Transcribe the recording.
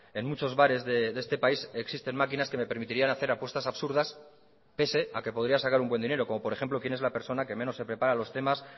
en muchos bares de este país existen maquinas que me permitirían hacer apuestas absurdas pese a que podría sacar un buen dinero como por ejemplo quién es la persona que menos se prepara los temas